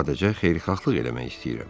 Sadəcə xeyirxahlıq eləmək istəyirəm.